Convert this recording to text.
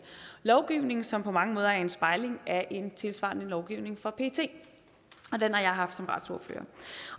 lovgivning som på mange måder er en spejling af en tilsvarende lovgivning for pet den har jeg haft som retsordfører